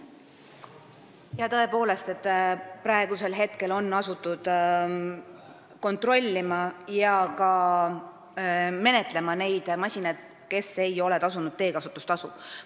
Tõepoolest, nüüd on asutud neid masinaid kontrollima ja ka menetlema neid juhtumeid, kui teekasutustasu on jäetud maksmata.